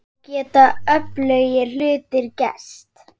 Þá geta öflugir hlutir gerst.